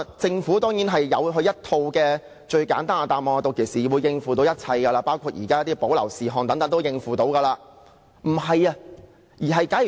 政府當然提供一套最簡單的答案，指屆時自然可以處理，包括《條例草案》中的保留事項也可以處理。